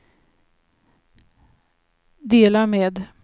dela med